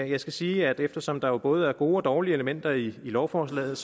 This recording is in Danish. jeg skal sige at eftersom der jo både er gode og dårlige elementer i lovforslaget